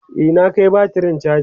e na Kai batirin chaji